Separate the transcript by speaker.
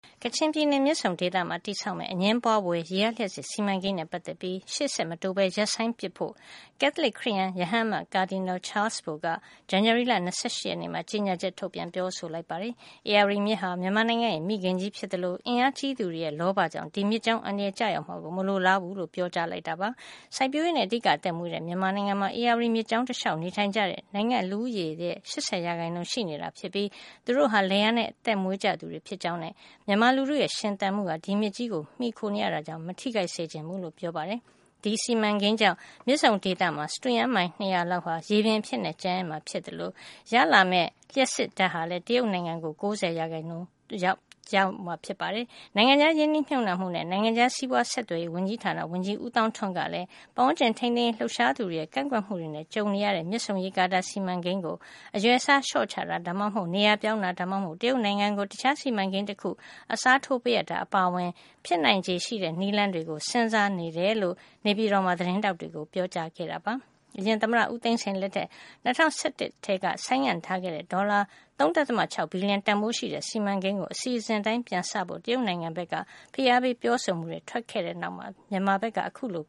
Speaker 1: ကချင်ပြည်နယ် မြစ်ဆုံဒေသမှာ တည်ဆောက်မယ့် အငြင်းပွါးဖွယ် ရေအားလျှပ်စစ် စီမံကိန်းနဲ့ ပတ်သက်ပြီး ရှေ့ဆက်မတိုးပဲ ရပ်ဆိုင်းပစ်ဖို့ ကက်သလစ်ခရစ်ယန် ရဟန်းအမတ် Cardinal Charles Bo က ဇန်နဝါရီလ ၂၈ ရက်နေ့မှာ ကြေညာချက် ထုတ်ပြန် ပြောဆိုလိုက်ပါတယ်။ ဧရာဝတီမြစ်ဟာ မြန်မာနိုင်ငံရဲ့ မိခင်ကြီးဖြစ်သလို အင်အားကြီးသူတွေရဲ့ လောဘကြောင့် ဒီမြစ်ကြောင်း အန္တရာယ်ကျရောက်မှာကို မလိုလားဘူးလို့ ပြောကြားလိုက်တာပါ။ စိုက်ပျိုးရေးနဲ့ အဓိက အသက်မွေးတဲ့ မြန်မာနိုင်ငံမှာ ဧရာဝတီမြစ်ကြောင်း တလျှောက် နေထိုင်ကြသူက နိုင်ငံ့လူဦးရေရဲ့ ၈၀ % ရှိနေတာဖြစ်ပြီး သူတို့တွေဟာ လယ်ယာနဲ့ အသက်မွေးကြသူတွေ ဖြစ်ကြောင်းနဲ့ မြန်မာလူထုရဲ့ ရှင်သန်မှုဟာ ဒီမြစ်ကြီးကို မှီခိုနေရတာ ကြောင့် မထိခိုက်စေချင်ဘူးလို့ ပြောပါတယ်။ ဒီစီမံကိန်းကြောင့် မြစ်ဆုံဒေသမှာ စတုရန်မိုင် ၂၀၀ လောက် ရေလွှမ်းသွားမှာ ဖြစ်သလို ဒီစီမံကိန်းက ရတဲ့ လျှပ်စစ်အားလုံးရဲ့ ၉၀ % ဟာလည်း တရုတ်နိုင်ငံကို ပေးရမှာ ဖြစ်ပါတယ်။ နိုင်ငံခြားရင်းနှီးမြှုပ်နှံမှုနဲ့ နိုင်ငံခြားစီးပွားဆက်သွယ်ရေး ဝန်ကြီးဌာန ဝန်ကြီး ဦးသောင်းထွန်းကလည်း ပတ်ဝန်းကျင် ထိန်းသိမ်းရေး လှုပ်ရှားသူတွေရဲ့ ကန့်ကွက်မှုတွေ ကြုံနေရတဲ့ မြစ်ဆုံရေကာတာ စီမံကိန်းကို အရွယ်အစား လျှော့ချတာ၊ ဒါမှမဟုတ် နေရာပြောင်းတာ ဒါမှမဟုတ် တရုတ်နိုင်ငံကို တခြားစီမံကိန်းတခု အစားထိုးပေးအပ်တာ အပါအဝင် ဖြစ်နိုင်ချေရှိတဲ့ နည်းလမ်းတွေကို စဉ်းစားနေတယ်လို့ နေပြည်တော်မှာ သတင်းထောက်တွေကို ပြောကြားခဲ့ပါတယ်။ အရင်သမ္မတဦးသိန်းစိန် လက်ထက် ၂၀၁၁ ခုနှစ်ကတည်းက ဆိုင်းငံ့ထားခဲ့တဲ့ဒေါ်လာ ၃.၆ ဘီလီယံ တန်ဘိုးရှိတဲ့ စီမံကိန်းကို အစီအစဉ်အတိုင်း ပြန်စနိုင်ဖို့ တရုတ်နိုင်ငံဘက်က ဖိအားပေး ပြောဆိုမှုတွေ ထွက်ပေါ်လာပြီးနောက်မှာပဲ မြန်မာဘက်က အခုလို